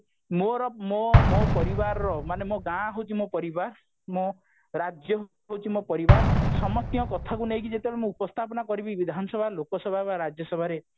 ମୋର ମୋ ମୋ ପରିବାରର ମାନେ ମୋ ଗାୟନ ହଉଛି ମୋ ପରିବାର ମୋ ରାଜ୍ୟ ହଉଛି ମୋ ପରିବାର ସମସ୍ତିଙ୍କ କଥାକୁ ନେଇକି ଯେତେବେଳ ମୁଁ ଉପସ୍ଥାପନ କରିବି ବିଧାନସଭାରେ ଲୋକସଭାରେ କିମ୍ବା ରାଜ୍ୟସଭାରେ